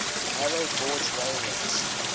narrow gauge railways